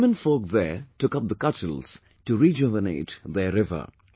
But, the womenfolk there took up the cudgels to rejuvenate their river